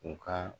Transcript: U ka